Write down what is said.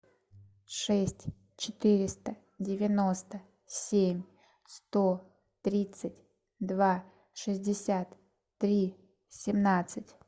шесть четыреста девяносто семь сто тридцать два шестьдесят три семнадцать